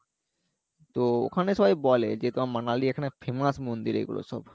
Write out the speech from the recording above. তো ওখানে সবাই বলে যে তোমার Manali ইর এখানে famous মন্দির এইগুলো সব